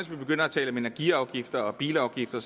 begynder at tale om energiafgifter og bilafgifter